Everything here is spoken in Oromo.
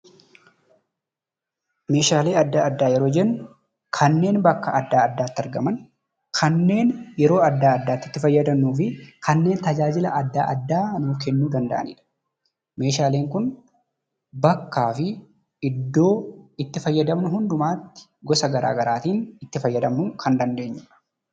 Meeshaalee addaa addaa yeroo jennu kanneen bakka addaatti argamanii fi tajaajila addaa addaa nuuf kennuu danda'anii dha. Meeshaaleen kun bakkaa fi iddoo itti fayyadamnu hundumaatti gosa garaa garaa fayyadamuu kan dandeenyuu dha.